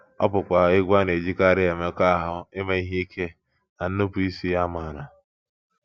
Ọ bụkwa egwú a na - ejikarị emekọahụ, ime ihe ike, na nnupụisi amara.